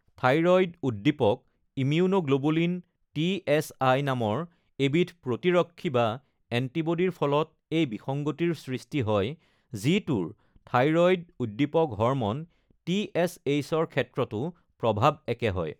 থাইৰয়ড-উদ্দীপক immunoglobulin (টিএচআই) নামৰ এবিধ প্ৰতিৰক্ষী বা এণ্টিবডীৰ ফলত এই বিসংগতিৰ সৃষ্টি হয়, যিটোৰ থাইৰয়ড-উদ্দীপক হৰম'ন (টিএচএইচ)ৰ ক্ষেত্ৰতো প্ৰভাৱ একে হয়।